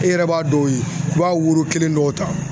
E yɛrɛ b'a dɔw ye i b'a woro kelen dɔw ta